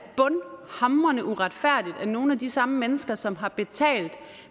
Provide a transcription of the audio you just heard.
er nogle af de samme mennesker som har betalt